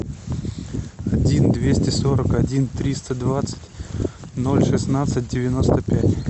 один двести сорок один триста двадцать ноль шестнадцать девяносто пять